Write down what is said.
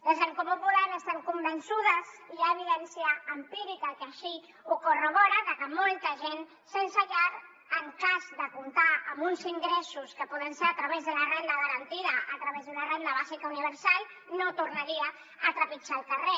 des d’en comú podem estem convençudes hi ha evidència empírica que així ho corrobora que molta gent sense llar en cas de comptar amb uns ingressos que poden ser a través de la renda garantida a través d’una renda bàsica universal no tornaria a trepitjar el carrer